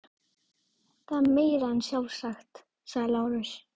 Það er meira en sjálfsagt, sagði Lárus.